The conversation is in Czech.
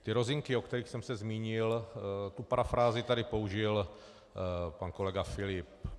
Ty rozinky, o kterých jsem se zmínil, tu parafrázi tady použil pan kolega Filip.